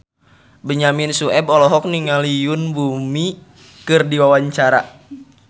Benyamin Sueb olohok ningali Yoon Bomi keur diwawancara